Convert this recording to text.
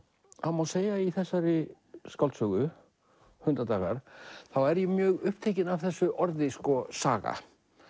það má segja í þessari skáldsögu Hundadagar þá er ég mjög upptekinn af þessu orði saga